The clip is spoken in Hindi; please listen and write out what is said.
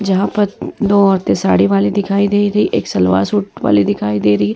जहॉ पर दो औरते साड़ी वाली दिखाई दे रही एक सलवार सुट वाली दिखाई दे रही --